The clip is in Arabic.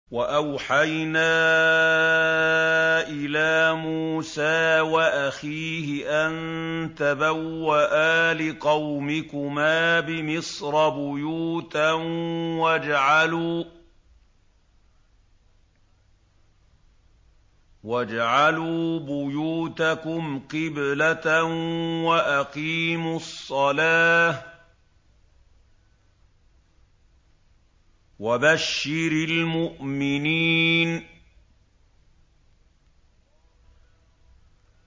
وَأَوْحَيْنَا إِلَىٰ مُوسَىٰ وَأَخِيهِ أَن تَبَوَّآ لِقَوْمِكُمَا بِمِصْرَ بُيُوتًا وَاجْعَلُوا بُيُوتَكُمْ قِبْلَةً وَأَقِيمُوا الصَّلَاةَ ۗ وَبَشِّرِ الْمُؤْمِنِينَ